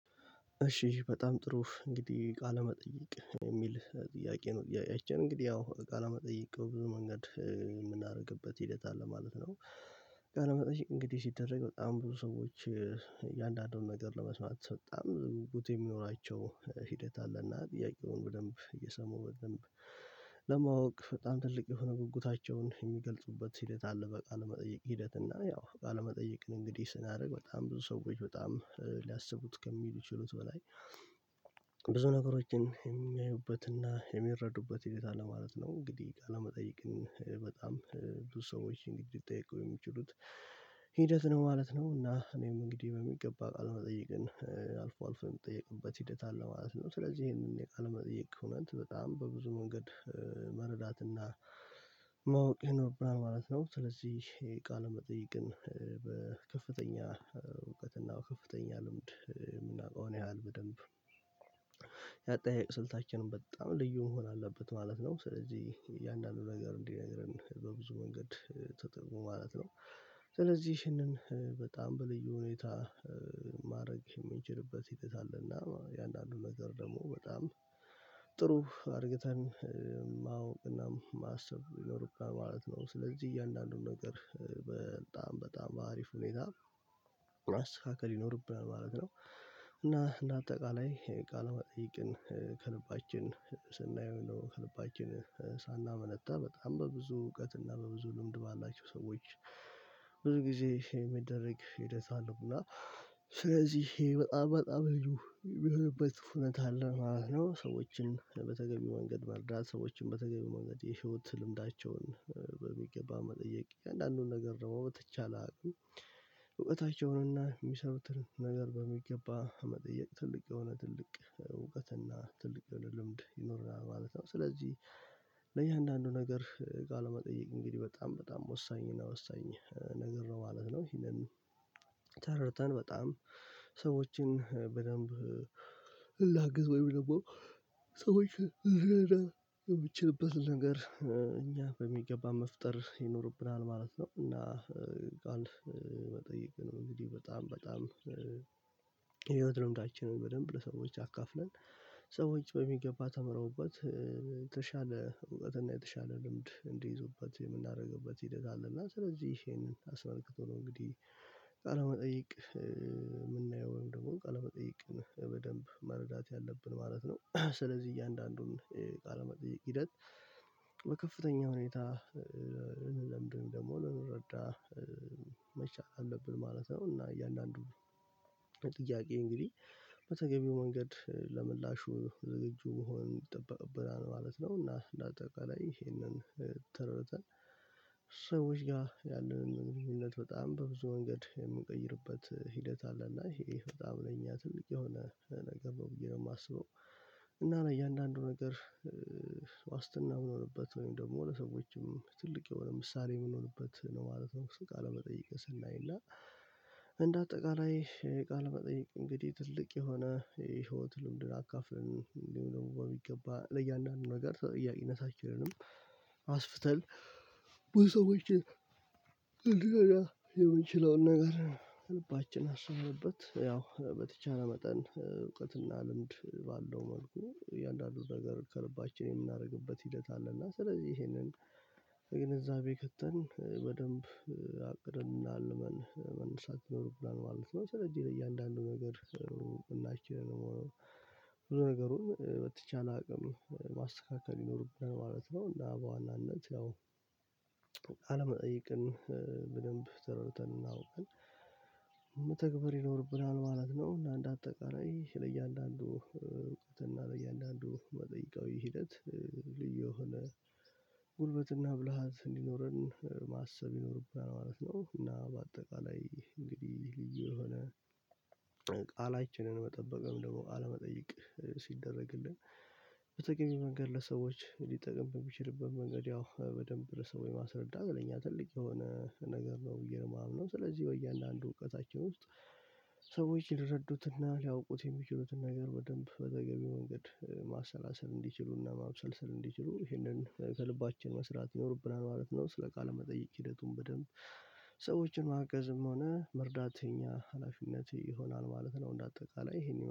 እሺ በጣም ጥሩ እንግዲህ ቃለመጠየቅ የሚል ጥያቄ ነው። ጥያቄያችን እንግዲህ አዎ ቃለመጠየቅ ብዙ መንገድ የምናደርግበት ሂደት አለ ማለት ነው። ቃለ መጠይቅ እንግዲህ ሲደረግ በጣም ብዙ ሰዎች እያንዳንዱን ነገር ለመስማት በጣም ቡቲ የሚኖራቸው ሂደት አለና ጥያቄውን በደንብ እየሰሙ በደንብ ለማወቅ በጣም ትልቅ የሆነ ጉጉታቸውን የሚገልጹበት ሂደት አለ። በቃለ መጠየቅ ሂደት እና ያው ቃል መጠየቅን እንግዲህ ስናደርግ በጣም ብዙ ሰዎች በጣም ሊያስቡት ከሚችሉት በላይ ብዙ ነገሮችን የሚያዩበትና የሚረዱበት የታለ ማለት ነው። እንግዲህ ቃለመጠይቅን በጣም ብዙ ሰዎችን እንግዲ ሊጠይቁ የሚችሉት ሂደት ነው ማለት ነው። እና እኔም እንግዲህ በሚገባ ቃለ መጠየቅን አልፎ አልፎ የምጠይቅበት ሂደት አለ ማለት ነው። ስለዚህ ይሄንን የቃል መጠይቅ እውነት በጣም በብዙ መንገድ መረዳትና ማወቅ ይኖርብናል ማለት ነው። ስለዚህ የቃል መጠይቅን በከፍተኛ እውቀት እና ከፍተኛ ልምድ የምናውቀውን ያህል በደንብ ያጠያየቅ ስልታችንም በጣም ልዩ መሆን አለበት ማለት ነው። ስለዚህ እያንዳንዱ ነገር እንዲነግረን በብዙ መንገድ ተጠቅሞ ማለት ነው ስለዚህ ይህንን በጣም በልዩ ሁኔታ ማድረግ የምንችልበት ይተታልና የአንዳንዱ ነገር ደግሞ በጣም ጥሩ አርገተን ማወቅና ማሰብ ይኖርብናል ማለት ነው። ስለዚህ እያንዳንዱን ነገር በጣም በአሪፍ ሁኔታ ማስተካከል ይኖርብናል ማለት ነው እና እና ለአጠቃላይ ቃለ መጠይቅን ከልባችን ስናየው ነው ከልባችን ሳናመነታ በጣም በብዙ እውቀት እና በብዙ ልምድ ባላቸው ሰዎች ብዙ ጊዜ የሚደረግ ሂደት አለው እና ስለዚህ ይሄ በጣም በጣም ልዩ የሆነበት ሁነት አለ ማለት ነው። ሰዎችን በተገቢ መንገድ መርዳት ሰዎችን በተገቢው መንገድ የህይወት ልምዳቸውን በሚገባ መጠየቅ የእያንዳንዱን ነገር ደግሞ በተቻለ አቅም እውቀታቸውንና የሚሰሩትን ነገር በሚገባ መጠየቅ ትልቅ የሆነ ትልቅ እውቀትና ትልቅ የሆነ ልምድ ይኖርናል ማለት ነው ስለዚህ ለእያንዳንዱ ነገር ቃለመጠየቅ እንግዲህ በጣም በጣም ወሳኝ እና ወሳኝ ነገር ነው ማለት ነው። ይሄንን ተረድተን በጣም ሰዎችን በደንብ ላግዝ ወይም ደግሞ ሰዎችልትረዳ የምትችልበት ነገር እኛ በሚገባ መፍጠር ይኖርብናል ማለት ነው እና ጋልፍ መጠየቅ ነው እንግዲህ በጣም በጣም የህይወት ልምዳችንን በደንብ ለሰዎች አካፍለን ሰዎች በሚገባ ተምረውበት የተሻለ እውቀት እና የተሻለ ልምድ እንዲይዙበት የምናደርግበት ሂደት አለ እና ስለዚህ ይሄንን አስመልክቶ ነው እንግዲህ ቃለ መጠይቅ የምናየው ወይም ደግሞ ቃለ መጠየቅ በደንብ መረዳት ያለብን ማለት ነው ስለዚህ እያንዳንዱን ቃለ መጠየቅ ሂደት በከፍተኛ ሁኔታ ለምንድነው ደግሞ ልንረዳ መቻል አለብን ማለት ነው እና እያንዳንዱ ጥያቄ እንግዲህ በተገቢው መንገድ ለመላሹ ዝግጁ መሆን ይጠበቅብናል ማለት ነው እና ለአጠቃላይ ይሄንን ተረድተን ሰዎች ጋር ያለንን ግንኙትት በጣም በብዙ መንገድ የምንቀይርበት ሂደት አለና ይሄ በጣም ነኝ ትልቅ የሆነ ነገር ነው ብዬ ነው የማስበው እና እያንዳንዱ ነገር ዋስትና የምንሆንበት ወይም ደግሞ ለሰዎችም ትልቅ የሆነ ምሳሌ የምንሆንበት ነው ማለት ነው እንክል ቃል ቃለመጠየቅ ስናይ እና እንደ አጠቃላይ ቃለመጠየቅ እንግዲህ ትልቅ የሆነ የህይወት ልምድን አካፍለን የሚገባ ለእያንዳንዱ ነገር ጥያቄነታችንንም አስፍተን በሰዎች የምንችለውን ነገር ልባችን አስበውበት ያው በተቻለ መጠን እውቀትና ልምድ ባለው መልኩ እያንዳንዱን ነገር ከልባችን የምናደርግበት ሂደት አለ እና ስለዚህ ይሄንን ግንዛቤ ከተን በደንብ አቅደን መነሳት ይኖርብናል ማለት ነው ስለዚህ እያንዳንዱ ነገር ሁላችንም ደግሞ ነገሩን በተቻለ አቅም ማስተካከል ይኖርብናል ማለት ነው እና በዋናነት ያው ቃለመጠየቅን በደንብ ተረድተን እና አውቀን መተግበር ይኖርብናል ማለት ነው እና እንደ አጠቃላይ ለእያንዳንዱ እውቀት እና ለእያንዳንዱ መጠይቃዊ ሂደት ልዩ የሆነ ጉልበትና ብልሃት እንዲኖረን ማሰብ ይኖርብናል ማለት ነው እና በአጠቃላይ እንግዲህ ልዩ የሆነ ቃላችንን መጠበቅም ደግሞ ቃለመጠየቅ ሲደረግልን በተገቢው መንገድ ለሰዎች ሊጠቅም በሚችልብን መንገድ ያው በደንብ ለሰው ማስረዳ ለኛ ትልቅ የሆነ ነገር ነው ብዬ ነው የማምነው ስለዚህ ወያንዳንዱ እውቀታችን ውስጥ ሰዎች ይረዱትና ሊያውቁት የሚችሉትን ነገር በደንብ በተገቢ መንገድ ማሰላሰል እንዲችሉና ማብሰልሰል እንዲችሉ ይሄንን ከልባችን መስራት ይኖርብናል ማለት ነው። ስለ ቃል መጠየቅ ሂደቱን በደንብ ማገዝም ሆነ መርዳት የኛ ሀላፊነት ይሆናል ማለት ነው እንደ አጠቃላይ ይሄን